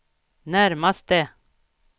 närmaste